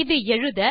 இது எழுத